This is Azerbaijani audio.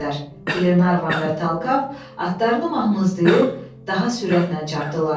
Glenarvan və Talkav atlarını mahmızlayıb daha sürətlə çapdı.